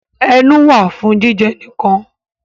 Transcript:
Ẹnu wà fún jíjẹ nǹkan